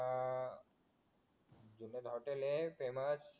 तिथंच हॉटेल हाय फेमस